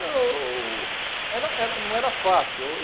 Não, era era não era fácil.